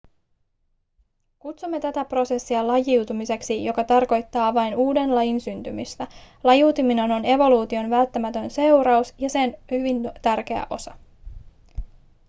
kutsumme tätä prosessia lajiutumiseksi joka tarkoittaa vain uuden lajin syntymistä lajiutuminen on evoluution välttämätön seuraus ja sen hyvin tärkeä osa